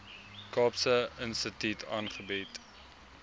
kaapse instituut aangebied